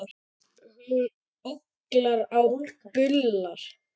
Hún ólgar og bullar.